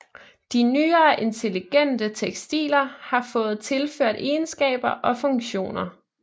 De nyere intelligente tekstiler har fået tilført egenskaber og funktioner